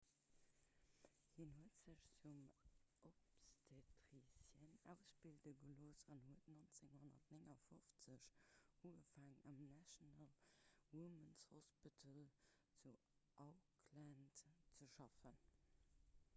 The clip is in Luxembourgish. hien huet sech zum obstetricien ausbilde gelooss an huet 1959 ugefaangen am national women's hospital zu auckland ze schaffen